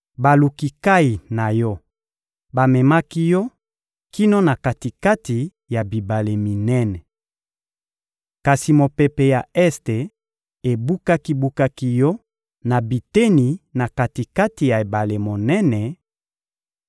Baluki nkayi na yo bamemaki yo kino na kati-kati ya bibale minene. Kasi mopepe ya este ebukaki-bukaki yo na biteni na kati-kati ya ebale monene: